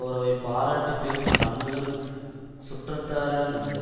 உறவை பாராட்டி பேசும் பண்புகள் சுற்றத்தாரிடம் உண்டு